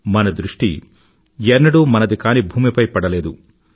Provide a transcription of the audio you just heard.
మన దృష్టి ఎన్నడూ మనది కాని భూమిపై పడలేదు